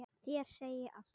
Þér segi ég allt.